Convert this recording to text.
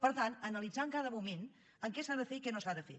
per tant analitzar en cada moment què s’ha de fer i què no s’ha de fer